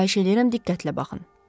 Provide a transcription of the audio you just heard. Xahiş eləyirəm diqqətlə baxın.